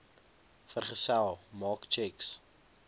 vergesel maak tjeks